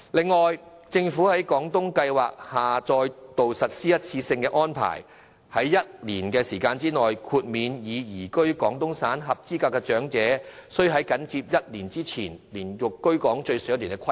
此外，政府在廣東計劃下再度實施一次性安排，在1年時間內，豁免已移居廣東省的合資格長者須在緊接申請日期前連續居港最少1年的規定。